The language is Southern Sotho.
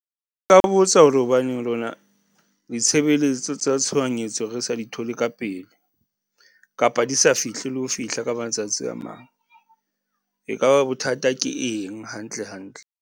Nka ba botsa hore hobaneng lona ditshebeletso tsa tshohanyetso re sa di thole ka pele, kapa di sa fihli, le ho fihla ka matsatsi a mang, e kaba bothata ke eng hantle hantle?